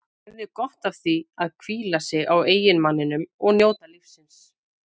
Hún hefði gott af að hvíla sig á eiginmanninum og njóta lífsins.